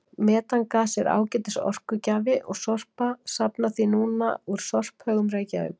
Metangas er ágætis orkugjafi og Sorpa safnar því núna úr sorphaugum Reykjavíkur.